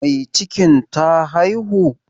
Mai cikin ta haihu?